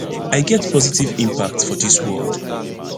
i get positive impact for dis world